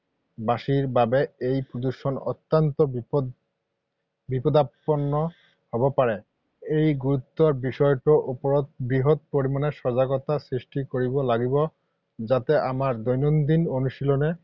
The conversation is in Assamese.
বাসীৰ বাবে এই প্ৰদূষণ অত্যন্ত বিপদাপন্ন হ’ব পাৰে।। এই গুৰুতৰ বিষয়টোৰ ওপৰত বৃহৎ পৰিমাণে সজাগতা সৃষ্টি কৰিব লাগিব যাতে আমাৰ দৈনন্দিন অনুশীলনে